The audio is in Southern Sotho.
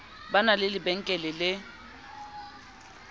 ba na le lebenkele le